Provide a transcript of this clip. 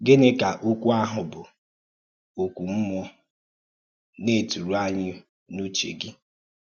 Gị́nị́ ka òkwú ahụ̀ bụ́ “ọ́kụ́ mmúọ̀.” na-ètùrụ̀ ànyì n’ùchè gị?